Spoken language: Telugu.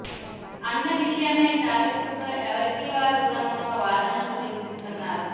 అన్న విషయమై టాలీవుడ్లో ఎవరికి వారు తమ తమ వాదనలు విన్పిస్తున్నారు